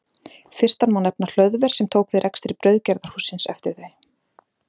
Fyrstan má nefna Hlöðver sem tók við rekstri brauðgerðarhússins eftir þau.